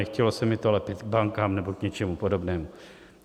Nechtělo se mi to lepit k bankám nebo k něčemu podobnému.